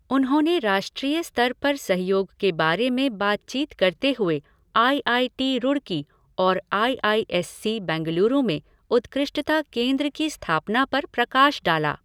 उन्होंने राष्ट्रीय स्तर पर सहयोग के बारे में बातचीत करते हुए आई आई टी रूड़की और I I S C Bengaluru में उत्कृष्टता केंद्र की स्थापना पर प्रकाश डाला।